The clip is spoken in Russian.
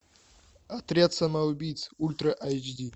отряд самоубийц ультра айч ди